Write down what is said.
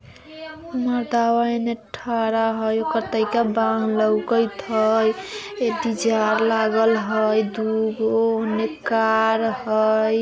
कतयी का बान लोगईत हई एते जार लागल हई दुगो हई कार हई।